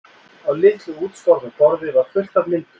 Á litlu útskornu borði var fullt af myndum.